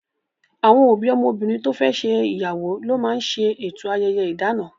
Àwọn òbí ọmọbìnrin to fẹ́ ṣe ìyàwó ló máa ń ṣe eto ayẹyẹ idana